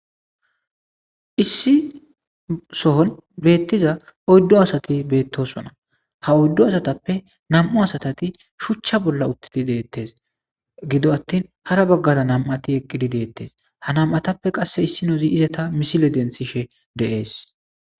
issi sohon beettiza odddo asati beettosona ha oyddo asatappe nam7u asatati shuchcha bolla uttidi deettes gido attin hara baggaza nam7ati eqqidi deettes ha nam7atappe qasse issi nozi izata misile densishe deees